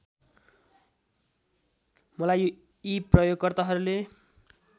मलाई यी प्रयोगकर्ताहरूले